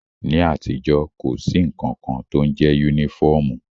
Ní àtijọ́, kò sí nnkan kan tó ń jẹ yúnífọ̀mù